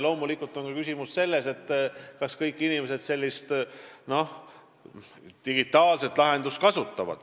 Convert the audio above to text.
Loomulikult on teine küsimus selles, kas kõik inimesed sellist digitaalset lahendust kasutaks.